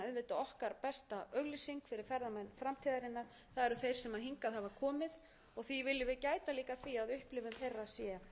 þeir sem hingað hafa komið því viljum gæta að því að upplifun þeirra sé